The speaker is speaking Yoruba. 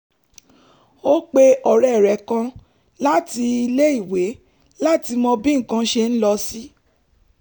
ó pe ọ̀rẹ́ rẹ̀ kan láti ilé-èwé láti mọ bí nǹkan ṣe ń lọ sí